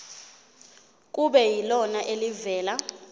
kube yilona elivela